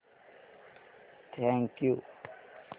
thank you